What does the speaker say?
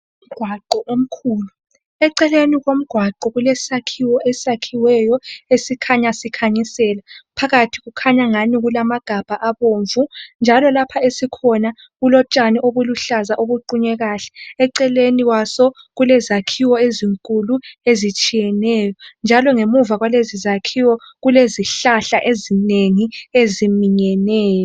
Umgwaqo omkhulu , eceleni komgwaqo kulesakhiwo esakhiweyo esikhanya sikhanyisela phakathi kukhanya angani kulamagabha abomvu njalo lapho esikhona kulotshani obuluhlaza obuqunywe kuhle , eceleni kwaso kulezakhiwo ezinkulu ezitshiyeneyo njalo ngamuva kwalezizakhiwo kulezihlahla ezinengi eziminyeneyo